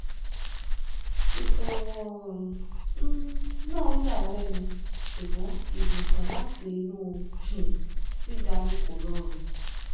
ìbẹwò um náà yà á lẹnu ṣùgbọn ìwòsàn láti inú um dídani kò rọrùn